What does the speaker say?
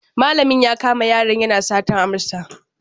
Malamin ya kama yaron yana satar amsa.